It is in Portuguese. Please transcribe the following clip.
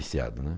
viciado, né.